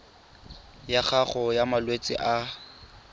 ya gago ya malwetse a